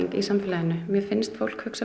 í samfélaginu mér finnst fólk hugsa